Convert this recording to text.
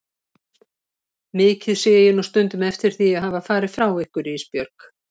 Mikið sé ég nú stundum eftir því að hafa farið frá ykkur Ísbjörg.